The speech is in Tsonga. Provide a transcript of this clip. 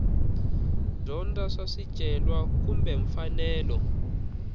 dyondza swa swicelwa kumbe mfanelo